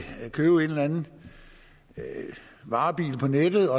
købe en eller anden varebil på nettet